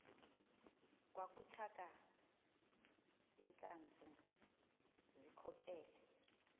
kwakutaka iintlantsi zikhokele